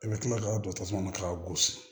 I bɛ kila ka don tasuma na k'a gosi